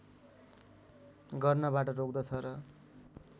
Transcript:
गर्नबाट रोक्दछ र